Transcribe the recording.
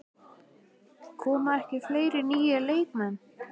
Koma ekki fleiri nýir leikmenn?